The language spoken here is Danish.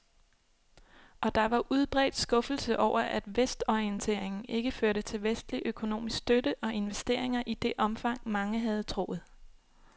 Og der var udbredt skuffelse over, at vestorienteringen ikke førte til vestlig økonomisk støtte og investeringer i det omfang, mange havde troet.